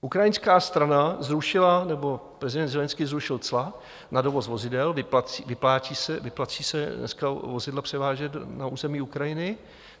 Ukrajinská strana zrušila - nebo prezident Zelenskyj zrušil - cla na dovoz vozidel, vyplácí se dneska vozidla převážet na území Ukrajiny.